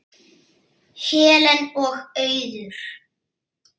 Helen og Auður.